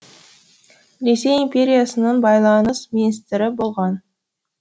ресей империясының байланыс министрі болған